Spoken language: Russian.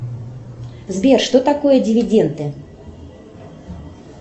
сбер что такое дивиденты